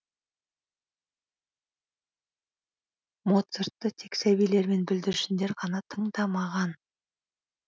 моцартты тек сәбилер мен бүлдіршіндер ғана тыңдамаған